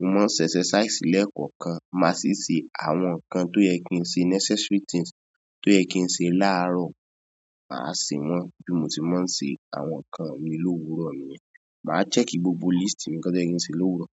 mo máa ń ṣe exercise lẹ́kọ̀ọ̀kan. Máa sì ṣe àwọn nǹkan tó yẹ kí n ṣe necessary things tó yẹ kí n ṣe láaro, màá ṣe wọ́n bí mo tí máa ń ṣe àwọn nǹkan mi lówúrọ̀ ni yẹn. Màá check gbogbo list mi ǹkan tó yẹ kí n ṣe lówúrọ̀.